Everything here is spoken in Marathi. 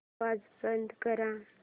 आवाज बंद कर